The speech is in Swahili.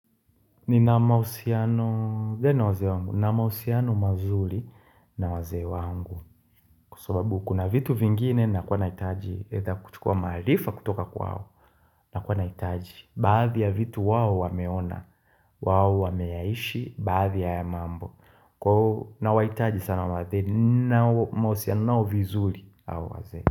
Ninamahusiano gani na wazee wangu. Ninamahusiano mazuri na wazee wangu. Kwa sababu kuna vitu vingine ninakuwa nahitaji either kuchukua maarifa kutoka kwao. Ninakuwa nahitaji. Baadhi ya vitu wao wameona. Wao wameyaishi baadhi ya haya mambo. Kwa hiyo ninawahitaji sana wazee. Ninao mahusiano nao vizuri hao wazee.